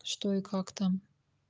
что и как там